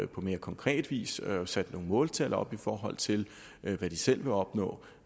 på mere konkret vis sat nogle måltal op i forhold til hvad de selv vil opnå